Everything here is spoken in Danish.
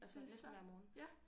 Det er så ja